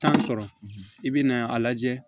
Tan sɔrɔ i bɛ na a lajɛ